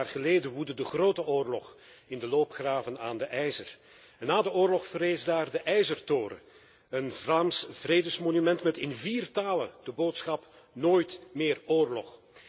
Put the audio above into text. Honderd jaar geleden woedde de Grote Oorlog in de loopgraven aan de IJzer en na de oorlog verrees daar de IJzertoren, een Vlaams vredesmonument met in vier talen de boodschap nooit meer oorlog.